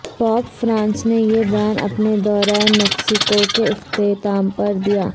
pope Francis نے یہ بیان اپنے دورہ میکسیکو کے اختتام پر دیا